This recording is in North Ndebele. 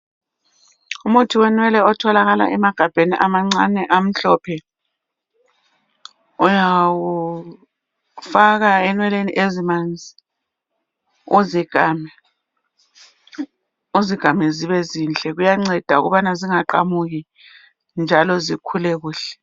Umuthi wenwele otholakala emagabheni amancane amhlophe uyawufaka enweleni ezimanzi uzikame zibe zinhle, kuyanceda ukubana zingaqamuki njalo zikhule kuhle.